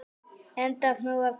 Enda af nógu að taka.